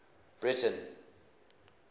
breyten